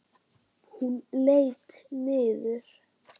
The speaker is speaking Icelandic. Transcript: Hún leit niður.